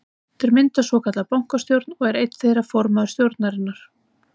Þeir mynda svokallaða bankastjórn og er einn þeirra formaður stjórnarinnar.